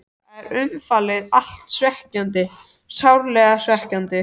Þetta var umfram allt svekkjandi, sárlega svekkjandi.